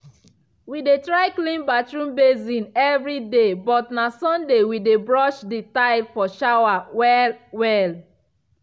we dey try clean bathroom basin evri day but na sunday we dey brush the tile for shower well well.